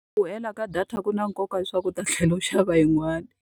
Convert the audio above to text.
Ku hela ka data ku na nkoka wa leswaku u ta thlela u ya xava yin'wanyana.